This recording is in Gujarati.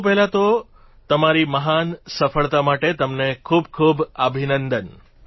સૌ પહેલાં તો તમારી મહાન સફળતા માટે તમને ખૂબખૂબ અભિનંદન